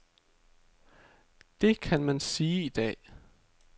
Det kan man sige i dag.